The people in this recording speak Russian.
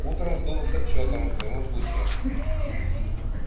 утром жду с отчётом в любом случае